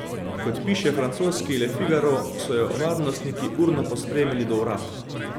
Kot piše francoski Le Figaro, so jo varnostniki urno pospremili do vrat.